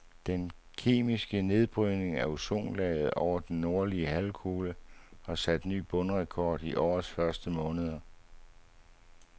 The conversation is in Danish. Den kemiske nedbrydning af ozonlaget over den nordlige halvkugle har sat ny bundrekord i årets første måneder.